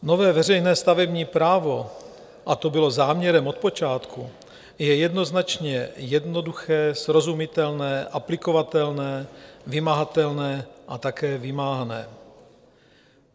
Nové veřejné stavební právo, a to bylo záměrem od počátku, je jednoznačně jednoduché, srozumitelné, aplikovatelné, vymahatelné a také vymáhané.